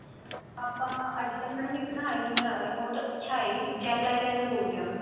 ਆਪਾਂ ਅੱਜਕਲ madam ਇੱਕ ਨਾ eyeliner ਏ ਰਿਹਾ ਬਹੁਤ ਅੱਛਾ ਏ gel eyeliner ਬੋਲਦੇ ਉਹਨੂੰ